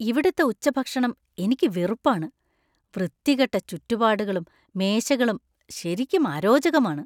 ഇവിടുത്തെ ഉച്ചഭക്ഷണം എനിക്ക് വെറുപ്പാണ്- വൃത്തികെട്ട ചുറ്റുപാടുകളും മേശകളും ശരിക്കും അരോചകമാണ്.